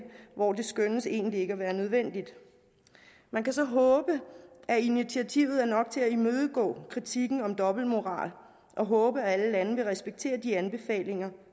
hvor det skønnes egentlig ikke at være nødvendigt man kan så håbe at initiativet er nok til at imødegå kritikken om dobbeltmoral og håbe at alle lande vil respektere de anbefalinger